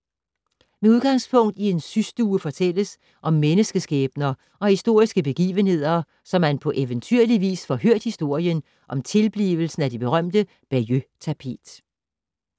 Med udgangspunkt i en systue fortælles om menneskeskæbner og historiske begivenheder, så man på eventyrlig vis får hørt historien om tilblivelsen af det berømte Bayeux-tapet.